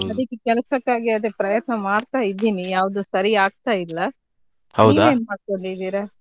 ಅದಿಕ್ಕೆ ಕೆಲಸಕ್ಕಾಗಿ ಅದೇ ಪ್ರಯತ್ನ ಮಾಡ್ತಾ ಇದ್ದೀನಿ ಯಾವ್ದು ಸರಿ ಆಗ್ತಾ ಇಲ್ಲ ನೀವ್ ಏನ್ ಮಾಡ್ಕೊಂಡಿದ್ದೀರಾ?